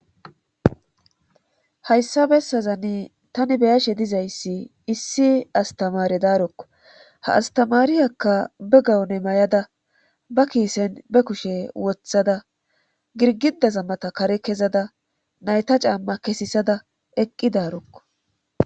Hayssa bessazani tani beyashe dizayssi issi astamaare daarokko ha astamaariyakka be gawone may7ada ba kiisen be kushe wothada girgidazammata kare kezada nayta caamma kesisada eqqi daarokko.